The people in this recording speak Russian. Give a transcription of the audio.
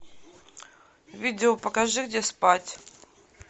видео покажи где спать